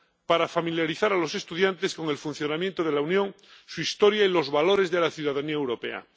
para familiarizar a los estudiantes con el funcionamiento de la Unión, su historia y los valores de la ciudadanía europea.